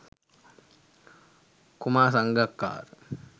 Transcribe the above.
kumar sangakkara